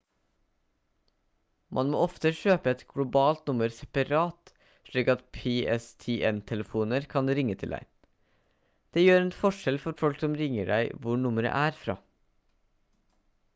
man må ofte kjøpe et globalt nummer separat slik at pstn-telefoner kan ringe til deg det gjør en forskjell for folk som ringer deg hvor nummeret er fra